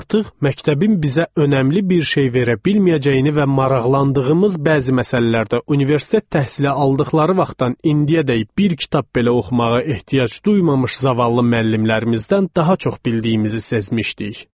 Artıq məktəbin bizə önəmli bir şey verə bilməyəcəyini və maraqlandığımız bəzi məsələlərdə universitet təhsili aldıqları vaxtdan indiyədək bir kitab belə oxumağa ehtiyac duymamış zavallı müəllimlərimizdən daha çox bildiyimizi sezmişdik.